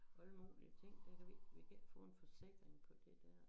Og alle mulige ting der vi vi kan ikke få en forsikring på det dér